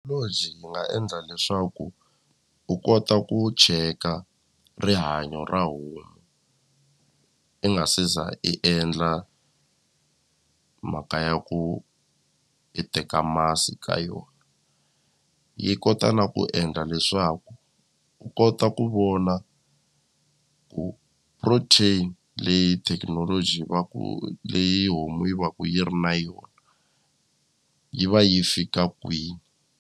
yi nga endla leswaku u kota ku cheka rihanyo ra homu i nga se za i endla mhaka ya ku i teka masi ka yona yi kota na ku endla leswaku u kota ku vona ku protein leyi thekinoloji va ku leyi homu yi va ku yi ri na yona yi va yi fika kwini.